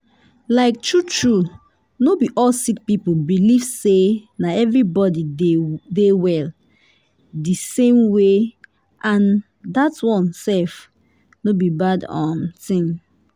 like true true no be all sick people believe say na everybody dey well di same way and dat one sef no be bad um tin.